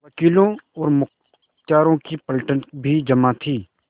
वकीलों और मुख्तारों की पलटन भी जमा थी